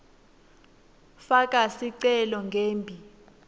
faka sicelo ngembi